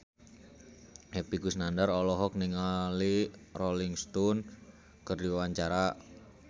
Epy Kusnandar olohok ningali Rolling Stone keur diwawancara